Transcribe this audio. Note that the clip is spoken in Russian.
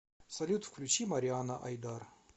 салют включи мариана айдар